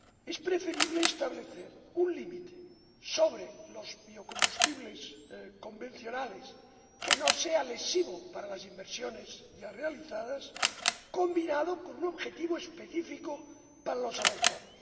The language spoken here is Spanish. Es preferible establecer un límite sobre los biocombustibles convencionales que no sea lesivo para las inversiones ya realizadas, combinado con un objetivo específico para los avanzados.